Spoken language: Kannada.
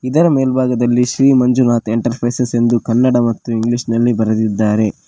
ಇದರ ಮೇಲ್ಭಾಗದಲ್ಲಿ ಶ್ರೀ ಮಂಜುನಾಥ ಎಂಟರ್ಪ್ರೈಸಸ್ ಎಂದು ಕನ್ನಡ ಮತ್ತು ಇಂಗ್ಲಿಷ್ ನಲ್ಲಿ ಬರೆದಿದ್ದಾರೆ.